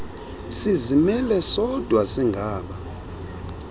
sizimele sodwa singaba